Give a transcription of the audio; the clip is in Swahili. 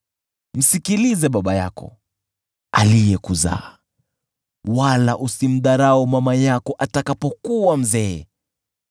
Msikilize baba yako, aliyekuzaa, wala usimdharau mama yako atakapokuwa mzee.